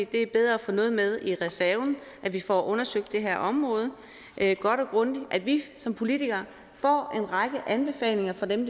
det er bedre at få noget med i reserven at vi får undersøgt det her område godt og grundigt at vi som politikere får en række anbefalinger fra dem